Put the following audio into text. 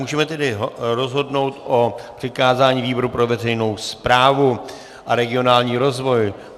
Můžeme tedy rozhodnout o přikázání výboru pro veřejnou správu a regionální rozvoj.